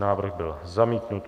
Návrh byl zamítnut.